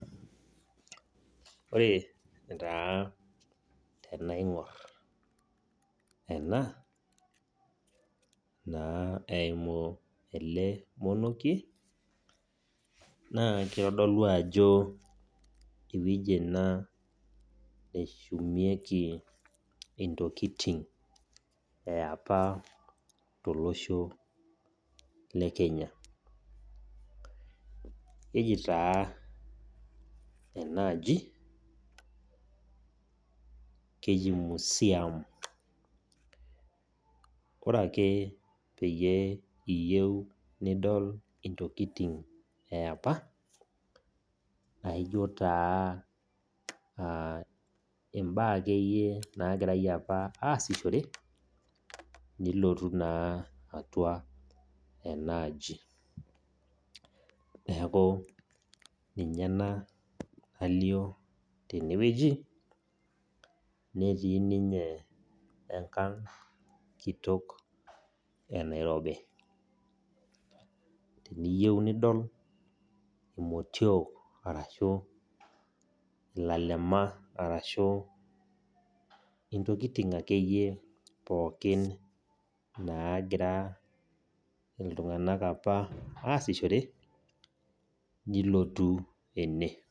Ore taa tenaing'or ena naa eimu naa ele monokie, na keitodolu ajo ewueji ena neshumieki intokitin e opa tolosho le Kenya. Keji taa enaaji keji Museum. Ore ake peyie iyou nidol intokitin e opa, naijo taa imbaa ake iyie opa naagira aasishore nilotu naa atua enaaji. Neaku ninye ena nalio tenewueji, netii ninye enkang' kitok e Nairobi. Teniyou nidol imotio arashu ilalemia, arashu intokitin ake iyie pookin , naagira apa ake iyie iltung'ana aasishore, nilotu ene.